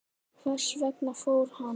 Hvers vegna fór hann?